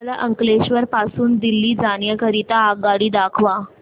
मला अंकलेश्वर पासून दिल्ली जाण्या करीता आगगाडी दाखवा